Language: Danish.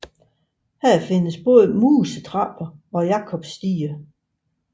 Her findes både musetrapper og jakobsstiger